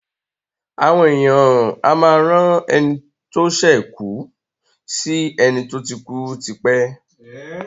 Àwon èèyàn a máá rán eni tó sè kùù sì eni tó ti kúú tipé.